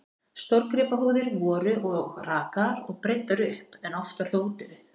Stórgripahúðir voru og rakaðar og breiddar upp, en oftar þó úti við.